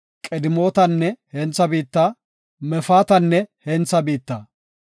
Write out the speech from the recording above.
Qidemootanne hentha biitta, Mefaatanne hentha biitta.